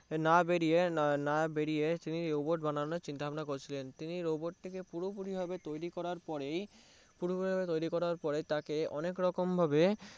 না বেরিয়ে না বেরিয়ে তিনি Robot বানানোর চিন্তাভাবনা করছিলেন তিনি Robot টিকে পুরোপুরি তৈরি করার পরেই পুরোপুরি তৈরি করার পরেই তাকে অনেকরকমভাবে